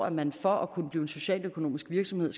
at man for at kunne blive en socialøkonomisk virksomhed